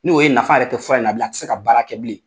N'o ye nafa yɛrɛ tɛ fura in na bilen a tɛ se ka baara kɛ bilen.